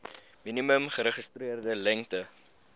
minimum geregistreerde lengte